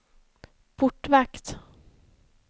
portvakt